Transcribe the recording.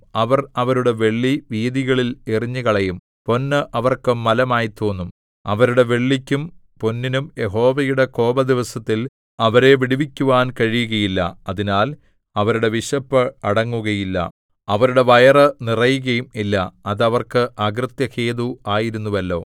അവർ അവരുടെ വെള്ളി വീഥികളിൽ എറിഞ്ഞുകളയും പൊന്ന് അവർക്ക് മലമായി തോന്നും അവരുടെ വെള്ളിക്കും പൊന്നിനും യഹോവയുടെ കോപദിവസത്തിൽ അവരെ വിടുവിക്കുവാൻ കഴിയുകയില്ല അതിനാൽ അവരുടെ വിശപ്പ് അടങ്ങുകയില്ല അവരുടെ വയറ് നിറയുകയും ഇല്ല അത് അവർക്ക് അകൃത്യഹേതു ആയിരുന്നുവല്ലോ